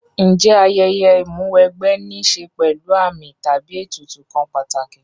Ǹjẹ́ ayẹyẹ Ìmúw'ẹgbẹ́ ní ṣe pẹ̀lú àmì tàbí ètùtù kan pàtàkì